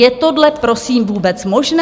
Je tohle, prosím, vůbec možné?